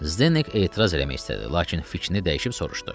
Zdenek etiraz eləmək istədi, lakin fikrini dəyişib soruşdu.